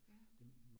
Ja